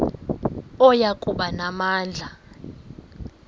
oya kuba namandla